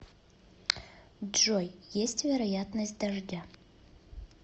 джой есть вероятность дождя